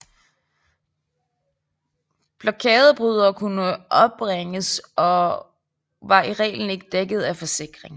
Blokadebrydere kunne opbringes og var i reglen ikke dækket af forsikring